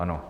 Ano.